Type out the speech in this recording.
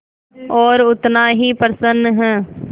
और उतना ही प्रसन्न है